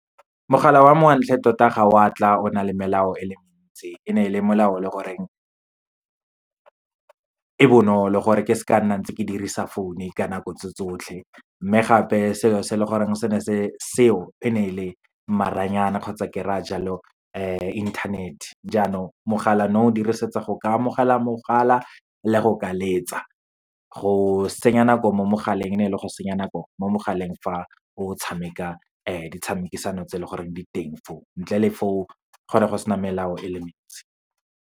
Mogala wa mme wa ntlha tota ga wa tla o na le melao e le mentsi, e ne e le melao o leng gore e bonolo, gore ke se ka nna ntse ke dirisa phone-o ka nako tse tsotlhe. Mme gape, selo se e leng gore se ne se seo, e ne e le maranyana kgotsa ke raya jalo internet-e. Jaanong, mogala no o dirisetsa go ka amogela mogala le go ka letsa. Go senya nako mo mogaleng, ne e le go senya nako mo mogaleng fa o tshameka di tshamekisano tse leng gore di teng fo o, ntle le fo, go ne go sena melao e le mentsi.